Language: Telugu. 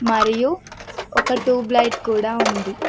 మరియు ఒక ట్యూబ్ లైట్ కూడా ఉంది.